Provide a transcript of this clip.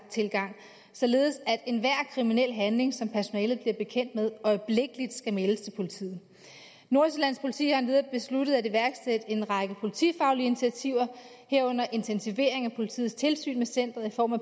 således at enhver kriminel handling som personalet bliver bekendt med øjeblikkeligt skal meldes til politiet nordsjællands politi har endvidere besluttet at iværksætte en række politifaglige initiativer herunder intensivering af politiets tilsyn med centret i form af